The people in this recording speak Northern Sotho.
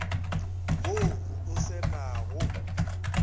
wo o se na go